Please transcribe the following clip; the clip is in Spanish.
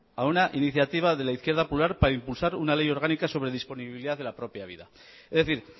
a una iniciativa de la izquierda popular para impulsar una ley orgánica sobre disponibilidad de la propia vida es decir